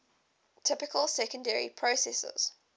typical secondary processes